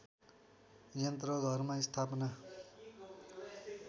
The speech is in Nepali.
यन्त्र घरमा स्थापना